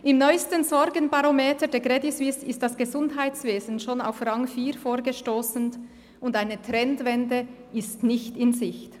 Im neusten Sorgenbarometer der Credit Suisse ist das Gesundheitswesen schon auf Rang vier vorgestossen – und eine Trendwende ist nicht in Sicht.